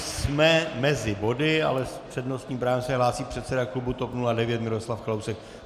Jsme mezi body, ale s přednostním právem se hlásí předseda klubu TOP 09 Miroslav Kalousek.